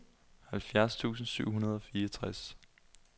halvfjerds tusind syv hundrede og fireogtres